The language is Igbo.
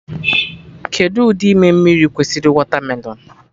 Kedụ ụdị ime mmiri kwesịrị wọtamelon?